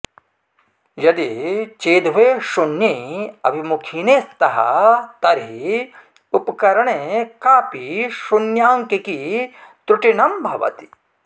यदि चेदुभे शून्ये अभिमुखीने स्तः तर्हि उपकरणे कापि शून्याङ्किकी त्रुटिनं भवति